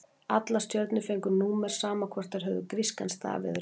Allar stjörnur fengu númer, sama hvort þær höfðu grískan staf eður ei.